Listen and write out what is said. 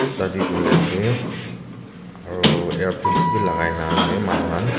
study kuri ase aro earpiece b lagai na ase manu khan.